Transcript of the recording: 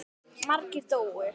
Margir dóu.